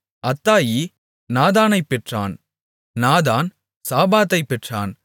அத்தாயி நாதானைப் பெற்றான் நாதான் சாபாதைப் பெற்றான்